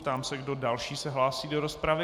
Ptám se, kdo další se hlásí do rozpravy.